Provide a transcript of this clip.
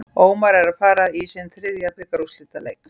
Ómar er að fara í sinn þriðja bikarúrslitaleik.